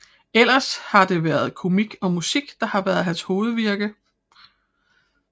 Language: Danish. Ellers har det været komik og musik der har været hans hovedvirke